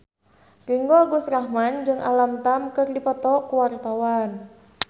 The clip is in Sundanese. Ringgo Agus Rahman jeung Alam Tam keur dipoto ku wartawan